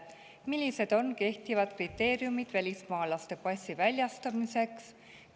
Millised on kehtivad kriteeriumid välismaalase passi väljastamiseks?